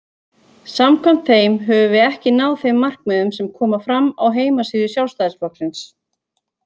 Samkvæmt þeim höfum við ekki náð þeim markmiðum sem koma fram á heimasíðu Sjálfstæðisflokksins.